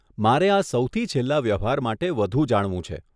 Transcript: મારે આ સૌથી છેલ્લાં વ્યવહાર માટે વધુ જાણવું છે.